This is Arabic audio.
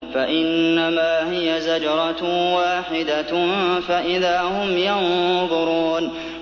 فَإِنَّمَا هِيَ زَجْرَةٌ وَاحِدَةٌ فَإِذَا هُمْ يَنظُرُونَ